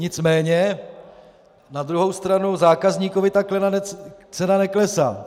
Nicméně na druhou stranu zákazníkovi cena neklesá.